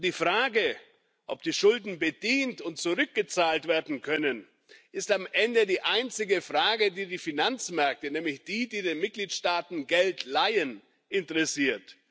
Und die Frage, ob die Schulden bedient und zurückgezahlt werden können, ist am Ende die einzige Frage, die die Finanzmärkte, nämlich die, die den Mitgliedstaaten Geld leihen, interessiert.